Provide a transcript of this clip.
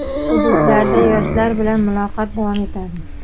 Hududlarda yoshlar bilan muloqot davom etadi!.